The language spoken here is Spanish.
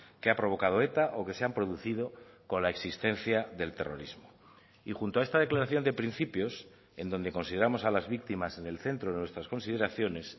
que ha provocado eta o que se han producido con la existencia del terrorismo y junto a esta declaración de principios en donde consideramos a las víctimas en el centro de nuestras consideraciones